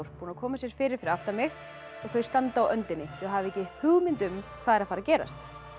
búin að koma sér fyrir fyrir aftan mig og þau standa á öndinni þau hafa ekki hugmynd um hvað er að fara að gerast